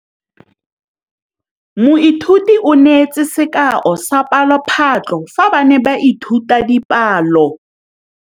Moithuti o neetse sekaô sa palophatlo fa ba ne ba ithuta dipalo.